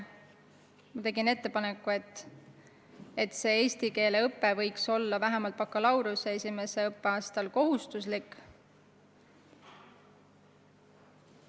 Ma tegin ettepaneku, et eesti keele õpe võiks vähemalt bakalaureuseõppe esimesel aastal kohustuslik olla.